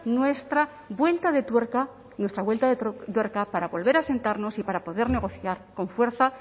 nuestra vuelta de tuerca nuestra vuelta de tuerca para volver a sentarnos y para poder negociar con fuerza